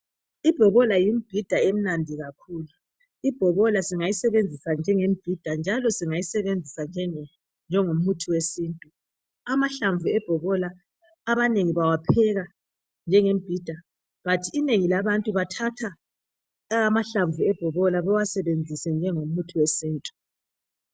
Ibhobola yimibhida emnandi kakhulu ,ibhobola singayisebenzisa njengemibhida .Njalo singayisebenzisa njengomithi yesintu . amahlamvu ebhobola abanengi bawapheka njengemibhida kodwa inengi labantu bathatha amahlamvu ebhobola bewasebenzise njengomuthi wesintu.